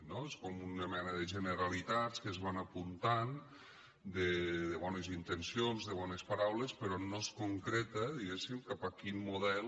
són com una mena de generalitats que es van apuntant de bones intencions de bones paraules però no es concreta diguéssim cap a quin model